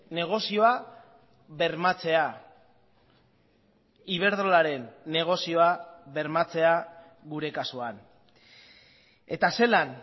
negozioa bermatzea iberdrolaren negozioa bermatzea gure kasuan eta zelan